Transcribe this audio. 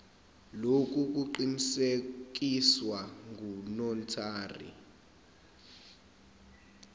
lokhu kuqinisekiswe ngunotary